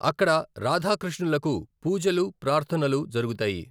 అక్కడ రాధా, కృష్ణులకి పూజలు, ప్రార్ధనలు జరుగుతాయి.